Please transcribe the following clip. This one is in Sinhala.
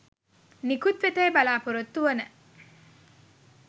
නිකුත්වෙතැයි බලපොරොත්තුවන